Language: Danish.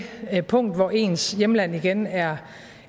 punkt hvor ens hjemland igen er